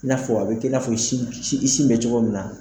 I n'a fɔ a bi k'i n'a fɔ sin i sin bɛ cogo min na